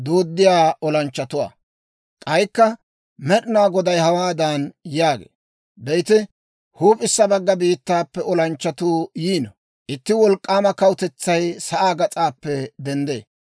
K'aykka Med'inaa Goday hawaadan yaagee; «Be'ite, huup'issa bagga biittaappe olanchchatuu yiino; itti wolk'k'aama kawutetsay sa'aa gas'aappe denddee.